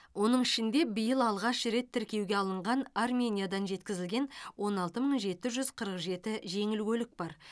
оның ішінде биыл алғаш рет тіркеуге алынған армениядан жеткізілген он алты мың жеті жүз қырық жеті жеңіл көлік бар